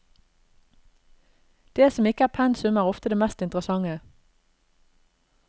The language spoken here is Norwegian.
Det som ikke er pensum, er ofte det mest interessante.